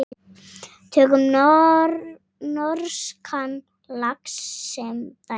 Tökum norskan lax sem dæmi.